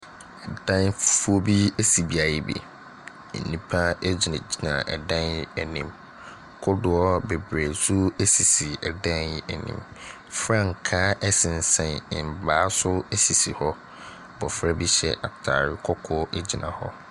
Dan fufuo bi esi beaeɛ bi. Nnipa gyinagyina ɛdan anim. Kodoɔ bebree nso sisi ɛdan yi anim. Frankaa ɛsensɛn mmaa so sisi hɔ. Abofra bi hyɛ ataare kɔkɔɔ gyina hɔ.